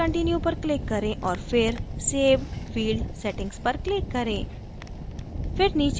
save and continue पर click करें और फिर save field settings पर click करें